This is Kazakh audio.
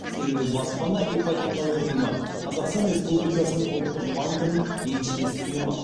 себебі баспана ипотекалық ұйымы қазақстан республикасы ұлттық банкінің еншілес ұйымы